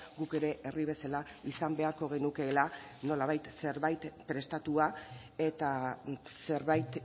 guk ere herri bezala izan beharko genukeela nolabait zerbait prestatua eta zerbait